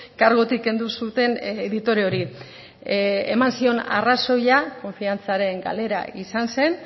kargutik kendu zuten editore hori eman zion arrazoia konfiantzaren galera izan zen